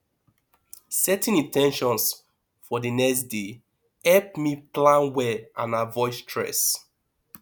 setting in ten tions for the next day help me plan well and avoid stress